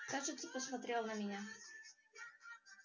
кажется посмотрел на меня